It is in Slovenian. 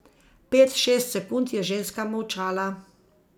Pet, šest sekund je ženska molčala.